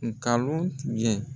Ngalon tigɛ